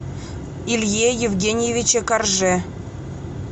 илье евгеньевиче корже